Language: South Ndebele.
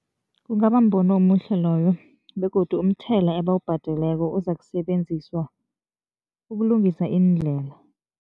Kungaba mbono omuhle loyo begodu umthela ebawubhadeleko uzakusebenziswa ukulungisa iindlela.